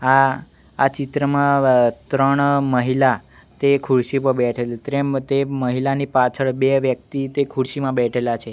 આ આ ચિત્રમાં ત્રણ મહિલા તે ખુરસી પર બેઠેલી ત્રેમ તે મહિલાની પાછળ બે વ્યક્તિ તે ખુરસીમાં બેઠેલા છે.